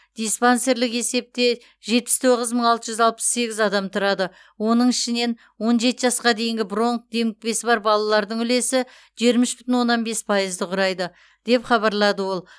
диспансерлік есепте жетпіс тоғыз мың алты жүз алпыс сегіз адам тұрады оның ішінен он жеті жасқа дейінгі бронх демікпесі бар балалардың үлесі жиырма үш бүтін оннан бес пайызды құрайды деп хабарлады ол